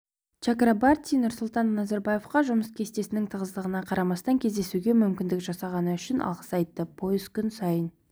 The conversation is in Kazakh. чакрабарти нұрсұлтан назарбаевқа жұмыс кестесінің тығыздығына қарамастан кездесуге мүмкіндік жасағаны үшін алғыс айтты пойыз күн сайын